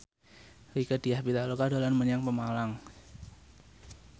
Rieke Diah Pitaloka dolan menyang Pemalang